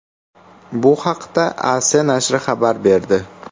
Bu haqda AS nashri xabar berdi.